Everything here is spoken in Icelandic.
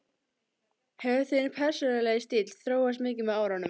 Hefur þinn persónulegi stíll þróast mikið með árunum?